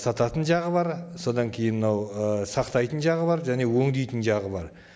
сататын жағы бар содан кейін мынау ы сақтайтын жағы бар және өңдейтін жағы бар